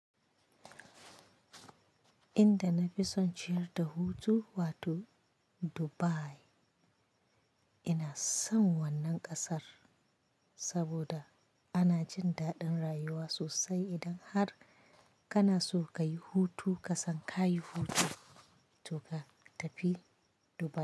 Inda na fi son ciyar da hutu wato Dubai ina son wannan kasar saboda ana jin daɗin rayuwa sosai idan har kana so kayi hutu kasan ka yi hutu to ka tafi Dubai.